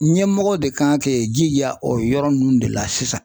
Ɲɛmɔgɔ de kan k'i jija o yɔrɔ ninnu de la sisan.